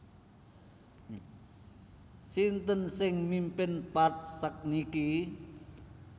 Sinten sing mimpin Path sakniki?